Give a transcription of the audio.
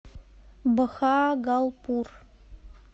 бхагалпур